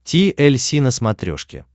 ти эль си на смотрешке